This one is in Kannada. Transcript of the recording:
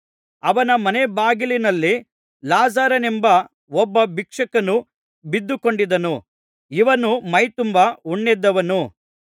ಅವನ ಮನೇ ಬಾಗಿಲಿನಲ್ಲಿ ಲಾಜರನೆಂಬ ಒಬ್ಬ ಭಿಕ್ಷುಕನು ಬಿದ್ದುಕೊಂಡಿದ್ದನು ಇವನು ಮೈತುಂಬಾ ಹುಣ್ಣೆದ್ದವನು